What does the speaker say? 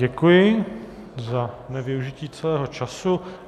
Děkuji za nevyužití celého času.